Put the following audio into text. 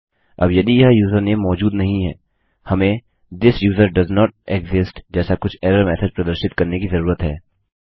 अब यदि यह यूजरनेम मौजूद नहीं है हमें थिस यूजर डोएसेंट एक्सिस्ट जैसा कुछ एरर मेसेज प्रदर्शित करने की जरूरत है